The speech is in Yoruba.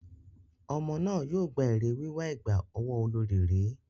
Ọmọ náà yóò gba èrè wíwà ẹ̀gbà ọwọ́ olorì rí.